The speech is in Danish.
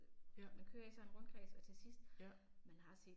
Ja. Ja